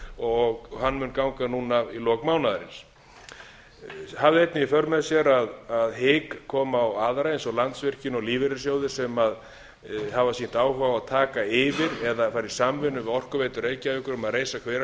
og hann mun ganga núna í lok mánaðarins það hafði einnig í för með sér að hik koma á aðra eins og landsvirkjun og lífeyrissjóði sem hafa sýnt áhuga á að taka yfir eða fara í samvinnu við orkuveitu reykjavíkur um að reisa